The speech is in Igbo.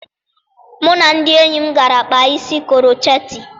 Mụ na ndị enyi m gara kpaa isi krocheetị